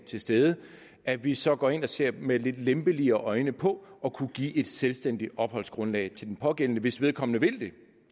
til stede at vi så går ind og ser med lidt lempeligere øjne på at kunne give et selvstændigt opholdsgrundlag til den pågældende hvis vedkommende vil det